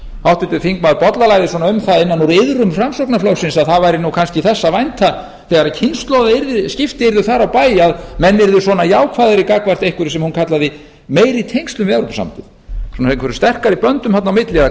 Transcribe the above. háttvirtur þingmaður bollalagði svona um það innan úr iðrum framsóknarflokksins að það væri nú kannski þess að vænta þegar kynslóðaskipti yrðu þar á bæ að menn yrðu svona jákvæðari gagnvart einhverju sem hún kallaði meiri tengslum við evrópusambandið svona einhverjum sterkari böndum þarna á milli eða